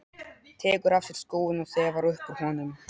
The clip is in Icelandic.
Tekur af sér skóinn og þefar upp úr honum.